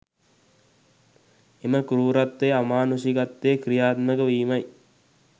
එම කෲරත්වය අමානුෂිකත්වය ක්‍රියාත්මක වීමයි